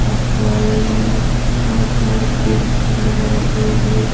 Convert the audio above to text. और सामने में बहुत सारे कुर्सी लगाए गए हैं।